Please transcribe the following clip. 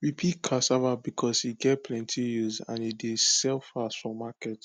we pick cassava because e get plenty use and e dey sell fast for market